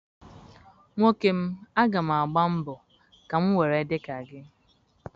Nwoke m, aga m mbọọ ka m nwere ị dị ka gị.